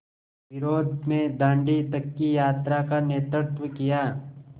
विरोध में दाँडी तक की यात्रा का नेतृत्व किया